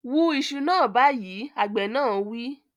Wú iṣu náà báyìí, Àgbẹ̀ náà wí